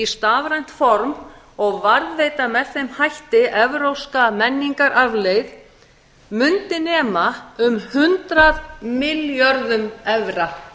stafrænt form og varðveita með þeim hætti evrópska menningararfleifð mundi nema um hundrað milljörðum evra